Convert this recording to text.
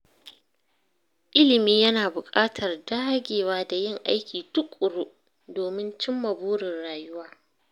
Ilimi yana buƙatar dagewa da yin aiki tuƙuru domin cimma burin rayuwa.